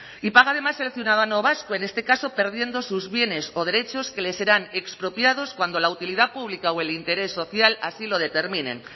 y paga además el ciudadano vasco en este caso perdiendo sus bienes o derechos que les serán expropiados cuando la utilidad pública o el interés social así lo determinen